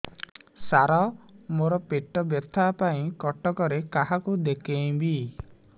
ସାର ମୋ ର ପେଟ ବ୍ୟଥା ପାଇଁ କଟକରେ କାହାକୁ ଦେଖେଇବି